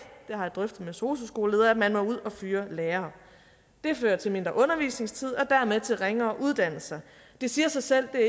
det har jeg drøftet med sosu skoleledere at man må ud at fyre lærere det fører til mindre undervisningstid og dermed til ringere uddannelser det siger sig selv at